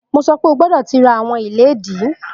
Mo sọ pe, o gbọdọ ti ra awọn iledìí!